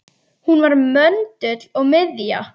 Hún var möndull og miðja.